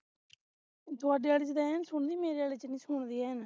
ਤੁਹਾਡੇ ਵਾਲੇ ਵਿਚ ਐਂਣ ਸੁਣਦੀ ਮੇਰੇ ਵਾਲੇ ਵਿਚ ਨਹੀਂ ਸੁਣਦੀ ਐਂਣ